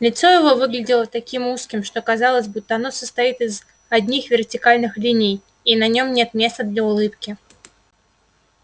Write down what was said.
лицо его выглядело таким узким что казалось будто оно состоит из одних вертикальных линий и на нём нет места для улыбки